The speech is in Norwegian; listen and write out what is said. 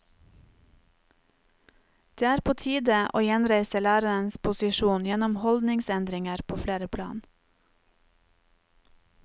Det er på tide å gjenreise lærerens posisjon gjennom holdningsendringer på flere plan.